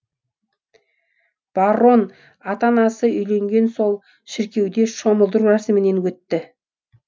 баррон ата анасы үйленген сол шіркеуде шомылдыру рәсімінен өтті